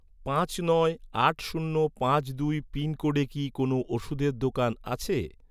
পাঁচ নয় আট শূন্য পাঁচ দুই পিনকোডে কি কোনও ওষুধের দোকান আছে?